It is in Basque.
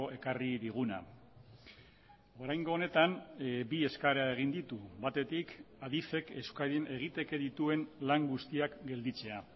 ekarri diguna oraingo honetan bi eskaera egin ditu batetik adifek euskadin egiteke dituen lan guztiak gelditzea